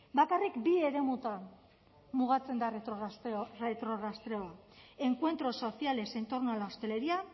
bakarrik bi eremutan mugatzen da retrorastreoa encuentros sociales en torno a la hostelería